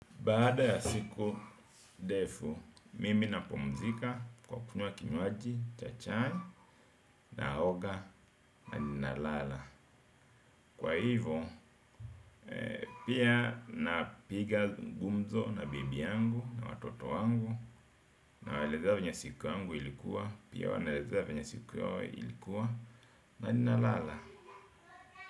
Baada ya siku ndefu, mimi napumzika kwa kunywa kinywaji, cha chai naoga na ninalala. Kwa hivo, pia napiga gumzo na bibi yangu na watoto wangu nawaelezea vyenye siku yangu ilikuwa, pia wanaelezea venya siku yao ilikuwa na ninalala.